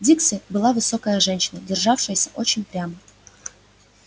дилси была высокая женщина державшаяся очень прямо